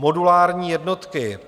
Modulární jednotky.